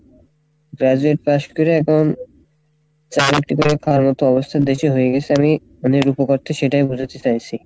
graduate pass করে এখন চা বিক্রি করে খাওয়ার মতো অবস্থা দেশের হয়ে গেসে আমি মানে এর সেটাই বোঝাতে চাইসি।